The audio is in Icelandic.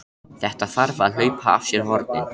Þetta þarf að hlaupa af sér hornin!